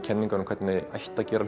kenningar um hvernig ætti að gera